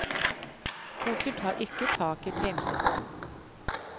Boken tar ikke tak i tegnsetting.